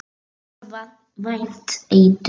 Banvænt eitur.